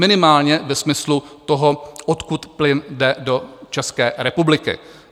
Minimálně ve smyslu toho odkud plyn jde do České republiky.